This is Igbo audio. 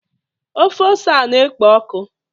ofe ose a na-ekpo ọkụ?